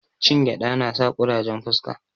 Cin gyada nasa kurajen fuska